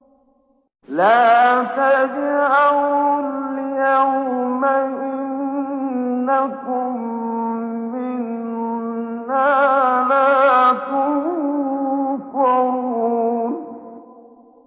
لَا تَجْأَرُوا الْيَوْمَ ۖ إِنَّكُم مِّنَّا لَا تُنصَرُونَ